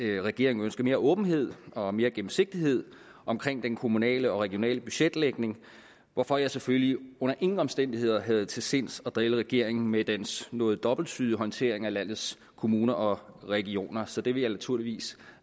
regeringen ønsker mere åbenhed og mere gennemsigtighed omkring den kommunale og regionale budgetlægning hvorfor jeg selvfølgelig under ingen omstændigheder havde til sinds at drille regeringen med dens noget dobbelttydige håndtering af landets kommuner og regioner så det vil jeg naturligvis